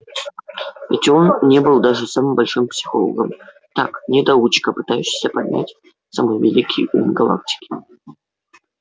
ведь он не был даже самым обычным психологом так недоучка пытающийся понять самый великий ум галактики